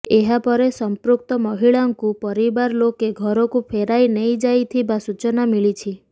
ଏହାପରେ ସଂପୃକ୍ତ ମହିଳାଙ୍କୁ ପରିବାର ଲୋକେ ଘରକୁ ଫେରାଇ ନେଇଯାଇଥିବା ସୂଚନା ମିଳିଛି